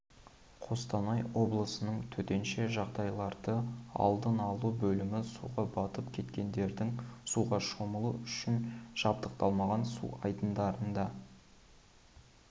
қостанай облысының төтенше жағдайларды алдын алу бөлімі суға батып кеткендердің суға шомылу үшін жабдықталмаған су айдындарында